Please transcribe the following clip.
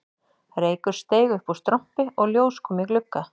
Reykur steig upp úr strompi og ljós kom í glugga